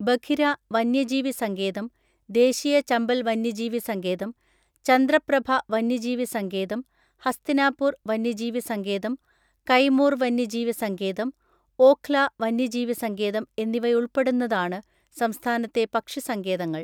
ബഖിര വന്യജീവി സങ്കേതം, ദേശീയ ചമ്പൽ വന്യജീവി സങ്കേതം, ചന്ദ്രപ്രഭ വന്യജീവി സങ്കേതം, ഹസ്തിനാപൂർ വന്യജീവി സങ്കേതം, കൈമൂർ വന്യജീവി സങ്കേതം, ഓഖ്ല വന്യജീവി സങ്കേതം എന്നിവയുൾപ്പെടുന്നതാണ് സംസ്ഥാനത്തെ പക്ഷിസങ്കേതങ്ങൾ.